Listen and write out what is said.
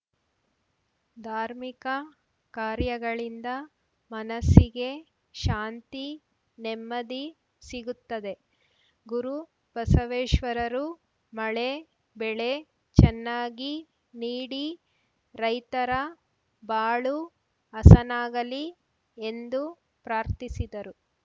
ಧಾರ್ಮಿಕ ಕಾರ್ಯಗಳಿಂದ ಮನಸ್ಸಿಗೆ ಶಾಂತಿ ನೆಮ್ಮದಿ ಸಿಗುತ್ತದೆ ಗುರುಬಸವೇಶ್ವರರು ಮಳೆ ಬೆಳೆ ಚೆನ್ನಾಗಿ ನೀಡಿ ರೈತರ ಬಾಳು ಹಸನಾಗಲಿ ಎಂದು ಪ್ರಾರ್ಥಿಸಿದರು